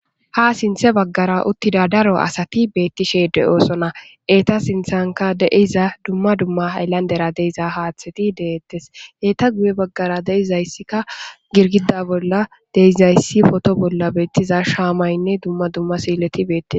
Ha sinththe baggara uttida daro asati beettishe de'oosona eeta sinthankka de'iza dumma dumma hayllandera de'iza haaththeti deettes eeta guye baggara deizayssikka girgida bolla de'izayssi potto bolla beettiza shaamaynne dumma dumma siileti beettees